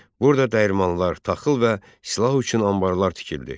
Burada dəyirmanlar, taxıl və silah üçün anbarlar tikildi.